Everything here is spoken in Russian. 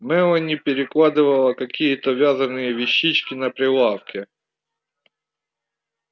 мелани перекладывала какие-то вязаные вещички на прилавке